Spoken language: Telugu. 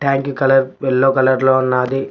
ట్యాంకి కలర్ యెల్లో కలర్ లో ఉన్నాది.